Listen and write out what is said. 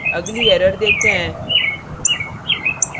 अगली error देखते हैं